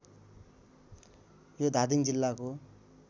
यो धादिङ जिल्लाको